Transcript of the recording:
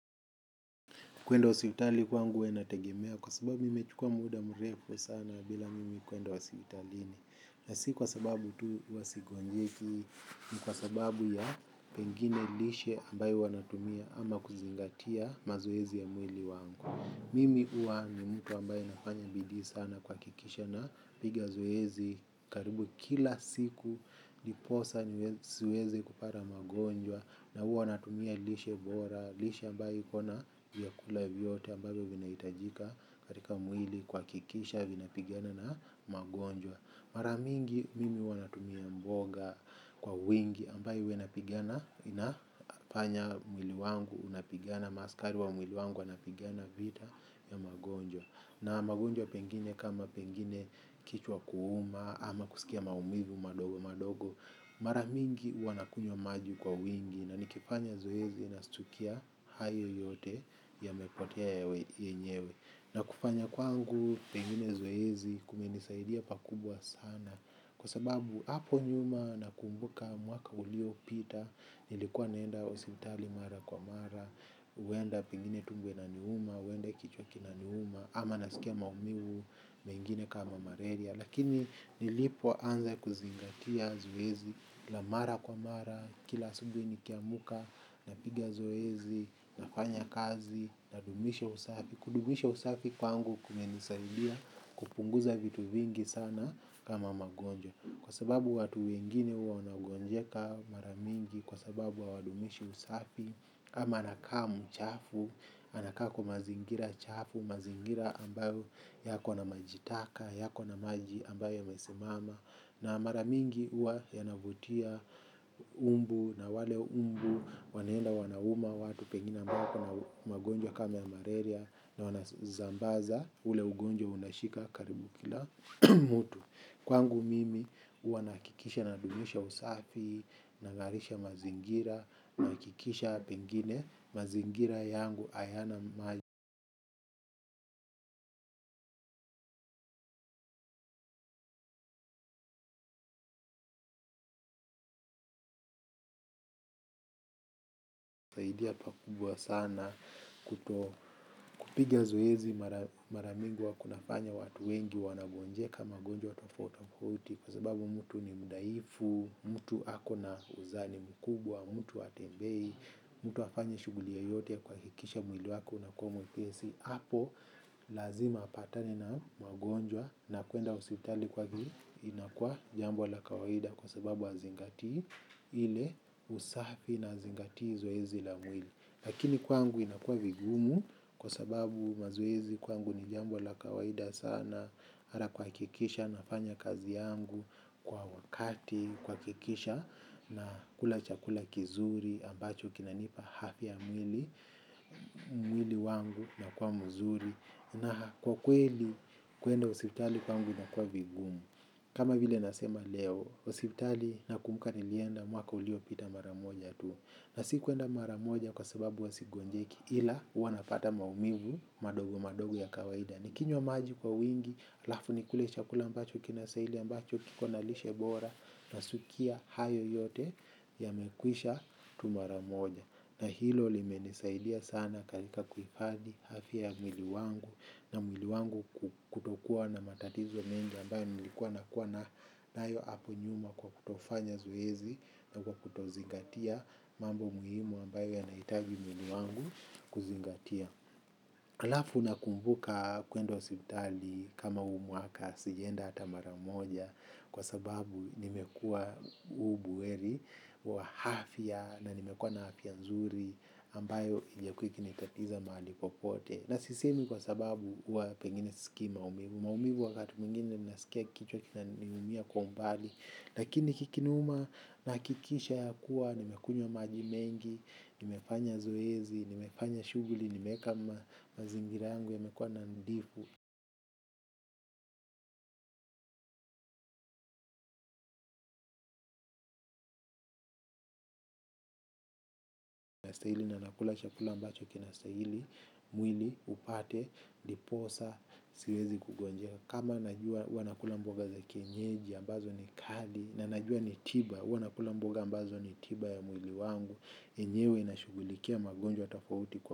Kwenda hospitali kwangu huwa inategemea kwa sababu mime chukua muda mrefu sana bila mimi kwenda wa hospitalini. Na si kwa sababu tu huwa sigonjeki, ni kwa sababu ya pengine lishe ambayo huwanatumia ama kuzingatia mazoezi ya mwili wangu. Mimi huwa ni mtu ambaye anafanya bidii sana kuhakikisha na piga zoezi karibu kila siku diposa si wezi kupata magonjwa na huwa natumia lishe bora. Lishe ambayo ikona viakula vyote ambayo vina hitajika katika mwili kahakikisha vina pigana na magonjwa. Maramingi mimi huwanatumia mboga kwa wingi ambayo huwa inapigana inafanya mwili wangu unapigana, maaskari wa mwili wangu wanapigana vita ya magonjwa. Na magonjwa pengine kama pengine kichwa kuuma ama kusikia maumivu madogo madogo. Maramingi huwana kunywa maji kwa wingi. Na nikifanya zoezi nastukia hayo yote ya mepotea yenyewe. Na kufanya kwangu pengine zoezi kumenisaidia pakubwa sana. Kwa sababu hapo nyuma nakumbuka mwaka ulio pita. Nilikuwa naenda hospitali mara kwa mara huenda pengine tumbo inaniuma, huenda kichwa kina niuma. Ama nasikia maumivu mengine kama malaria, lakini nilipo anze kuzingatia zoezi la mara kwa mara. Kila asubihi nikiamka, napiga zoezi, nafanya kazi, nadumisha usafi. Kudumisha usafi kwangu kumenisaidia kupunguza vitu vingi sana kama magonjwa. Kwa sababu watu wengine huwa wanagonjeka maramingi. Kwa sababu hawadumishi usafi ama anaka mchafu, anaka kwa mazingira chafu, mazingira ambayo yako na maji taka, yako na maji ambayo yamesimama. Na mara mingi huwa yanavutia umbu na wale umbu waneenda wanauma watu pengine wako na magonjwa kama ya malaria na wana zambaza ule ugonjwa unashika karibu kila mtu. Kwangu mimi huwa nahakikisha nadumisha usafi, nagarisha mazingira, nahakikisha pengine, mazingira yangu ayana maji saidia pakubwa sana kupiga zoezi maramingi huwa kunafanya watu wengi wanagonjeka magonjwa tofauti tofauti kwa sababu mtu ni mudaifu, mtu ako na uzani mkubwa, mtu hatembei, mtu hafanyi shughuli yoyote ya kuhakikisha mwili wake unakuwa mwepesi. Apo lazima apatane na magonjwa na kwenda hospitali kwake. Inakua jambo la kawaida kwa sababu hazingati ile usafi na hazingati zoezi la mwili. Lakini kwangu inakuwa vigumu kwa sababu mazoezi kwangu ni jambo la kawaida sana ata kuhakikisha nafanya kazi yangu kwa wakati kwa kikisha. Na kula chakula kizuri ambacho kinanipa hafia ya mwili mwili wangu unakuwa mzuri na kwa kweli kwenda hospitali kwangu ina kuwa vingumu kama vile nasema leo hospitali na kumbuka nilienda mwaka ulio pita maramoja tu na si kwenda maramoja kwa sababu huwa sigonjeki ila huwa napata maumivu madogo madogo ya kawaida ni kinywa maji kwa wingi alafu ni kule chakula mbacho kinastahili ambacho kiko nalishe bora na sukia hayo yote ya mekwisha tu maramoja. Na hilo limenisaidia sana katika kuhifadhi afia ya mwili wangu na mwili wangu kutokuwa na matatizo mengi ambayo nilikuwa na kuwa nayo hapo nyuma kwa kutofanya zoezi na kwa kutozingatia mambo muhimu ambayo yanahitaji mwili wangu kuzingatia. Alafu na kumbuka kwenda hospitali kama hu mwaka sijaenda hata maramoja kwa sababu nimekuwa ubuheri wa hafia na nimekuwa na hafia ya nzuri ambayo ijakuwa ikinitatiza mahali popote. Na sisemi kwa sababu huwa pengine sisiki maumivu. Maumivu wakati mwingine ninasikia kichwa kina niumia kwa umbali. Lakini kikiniuma na hakikisha ya kuwa, nimekunywa maji mengi, nimefanya zoezi, nimefanya shughuli, nimeeka mazingira yangu yamekuwa nandifu. Na stahili na nakula chakula ambacho kina stahili, mwili, upate, diposa, siwezi kugonjeka. Kama najua hua nakula mboga za kienyeji, ambazo ni kali, na najua ni tiba, hua nakula mboga ambazo ni tiba ya mwili wangu. Enyewe na shughulikia magonjwa tofauti kwa.